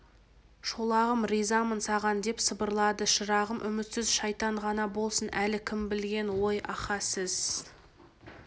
шолағым ризамын саған деп сыбырлады шырағым үмітсіз шайтан ғана болсын әлі кім білген ой аха сіз